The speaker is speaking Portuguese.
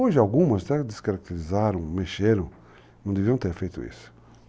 Hoje algumas até descaracterizaram, mexeram, não deviam ter feito isso.